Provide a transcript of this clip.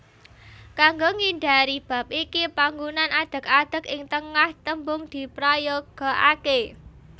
Kanggo ngindhari bab iki panggunaan adeg adeg ing tengah tembung diprayogakaké